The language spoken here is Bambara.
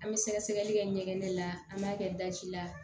An bɛ sɛgɛsɛgɛli kɛ ɲɛgɛn la an b'a kɛ daji la